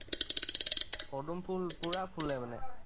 পদুম ফুল পুৰা ফুলে মানে